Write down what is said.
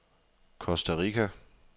Costa Rica